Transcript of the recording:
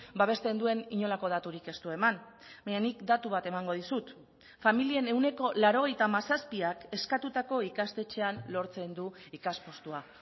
babesten duen inolako daturik ez du eman baina nik datu bat emango dizut familien ehuneko laurogeita hamazazpiak eskatutako ikastetxean lortzen du ikas postua